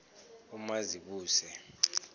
umazibuse